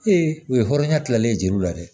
u ye hɔrɔnya kilalen jeliw la dɛ